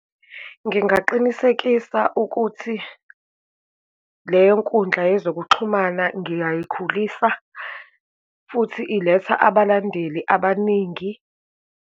Ngingaqinisekisa ukuthi leyo nkundla yezokuxhumana ngiyayikhulisa futhi iletha abalandeli abaningi.